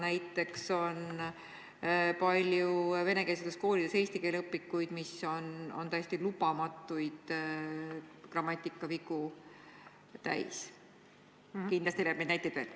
Näiteks on venekeelsetes koolides palju selliseid eesti keele õpikuid, mis on täis lubamatuid grammatikavigu, ja kindlasti leiab neid näiteid veel.